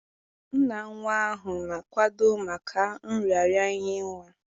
Nna nwa ahụ na-akwado maka nraranye nwa